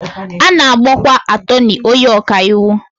A na-akpọkwa atọnị onye ọkàiwu